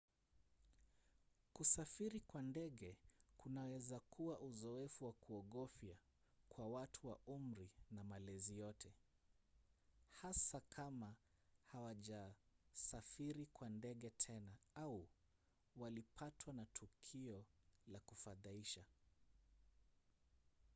kusafiri kwa ndege kunaweza kuwa uzoefu wa kuogofya kwa watu wa umri na malezi yote hasa kama hawajasafiri kwa ndege tena au walipatwa na tukio la kufadhaisha